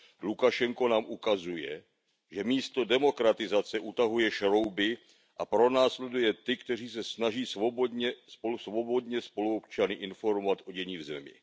Lukašenko nám ukazuje, že místo demokratizace utahuje šrouby a pronásleduje ty, kteří se snaží svobodně spoluobčany informovat o dění v zemi.